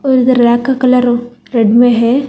उधर रैक का colour red में है।